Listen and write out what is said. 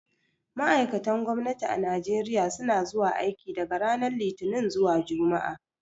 Ma'aikatan gwamnati a Najeriya suna zuwa aiki daga ranar Litinin zuwa Juma'a.